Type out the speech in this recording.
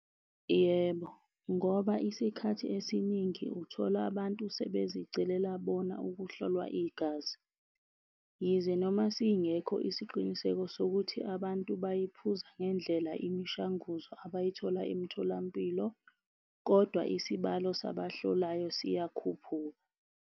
Yebo, ngoba isikhathi esiningi uthola abantu sebezicelela bona ukuhlolwa igazi. Yize noma singekho isiqiniseko sokuthi abantu bayiphuza ngendlela imishanguzo abayithola emitholampilo, kodwa isibalo sabahlolayo siyakhuphuka.